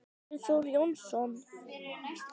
Andri Þór Jónsson